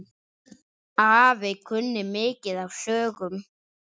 Afi kunni mikið af sögum.